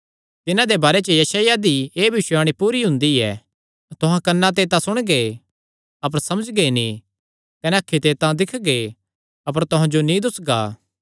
तिन्हां दे बारे च यशायाह दी एह़ भविष्यवाणी पूरी हुंदी ऐ तुहां कन्नां ते तां सुणगे अपर समझगे नीं कने अखीं ते तां दिक्खगे अपर तुहां जो नीं दुस्सगा